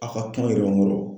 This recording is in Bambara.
A ka kumaw yɛrɛ bɛ n bolo!